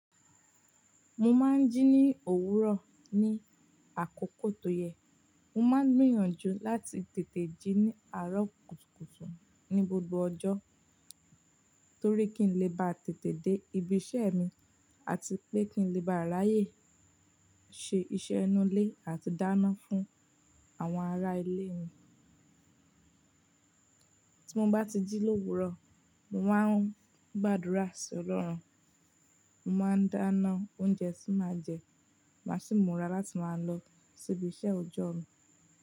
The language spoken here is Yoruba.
Mo máa ń jí ní òwúrọ̀, ní àkókò tó yẹ. Mo máa ń gbìyànjú láti tètè jí ní àárọ̀ kùtùkùtù, ní gbogbo ọjọ́, torí kí ń lè bá tètè dé ibi iṣẹ́ mi àti pé kí ń lè bá ráàyè ṣe iṣẹ́ inú ilé àti dáná fún àwọn ará ilé mi. Tí mo bá ti jí lówúrọ̀, mo máa ń gbàdúrà sí Ọlọ́run, mo máa ń dáná oúnjẹ tí màá jẹ, màá sì mura láti máa lọ sí ibi iṣẹ́ ọjọ́ mi.